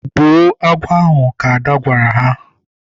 Gbuo agwọ ahụ! Ka Ada gwara ha.